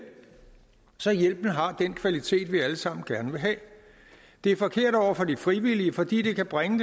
så hjælpen har den kvalitet vi alle sammen gerne vil have det er forkert over for de frivillige fordi det kan bringe